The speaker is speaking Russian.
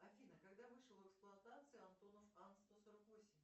афина когда вышел в эксплуатацию антонов ан сто сорок восемь